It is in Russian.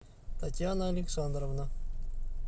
татьяна александровна